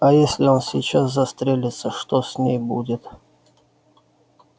а если он сейчас застрелится что с ней будет